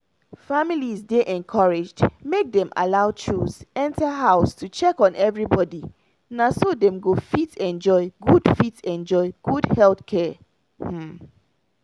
families dey encouraged make dem allow chws enter house to check on everybody na so dem go fit enjoy good fit enjoy good health care. um